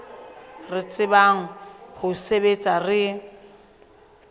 re tsebang ho sebetsa re